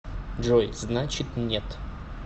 джой значит нет